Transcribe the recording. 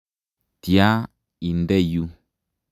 Tatya inde yu.